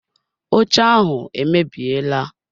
Oche ahụ emebiela.